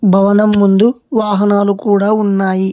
భవనం ముందు వాహనాలు కూడా ఉన్నాయి.